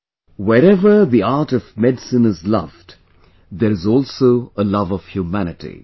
"Wherever the art of Medicine is loved, there is also a love of Humanity